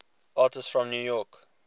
artists from new york